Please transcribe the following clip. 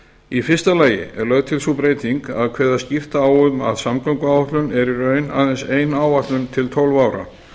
í fyrsta lagi að kveða skýrt á um að samgönguáætlun er í raun ein áætlun til tólf ára